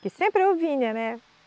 Que sempre eu vinha, né?